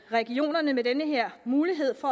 regionerne med den her mulighed får